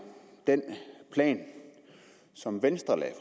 den plan som venstre lagde